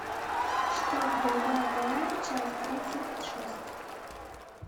штат голубая гора часть тридцать шесть